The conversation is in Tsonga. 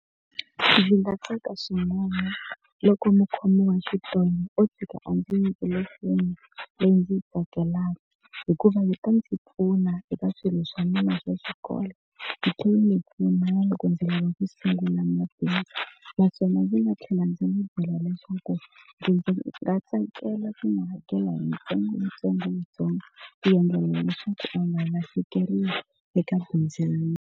Ndzi nga tsaka swin'wana loko mukhomi wa xitolo o tshika a ndzi nyikile foni leyi ndzi yi tsakelaka hikuva ndzi ta ndzi pfuna eka swilo swa mina swa xikolo, yi tlhela yi ndzi pfuna na loko ndzi lava ku sungula mabindzu. Naswona ndzi nga tlhela ndzi n'wi byela leswaku ndzi nga tsakela swi nga hakela hi ntsengo yitsongontsongo yintsongo ku endlela leswaku u nga lahlekeriwi eka bindzu ra yena.